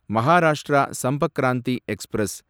Maharashtra Sampark Kranti express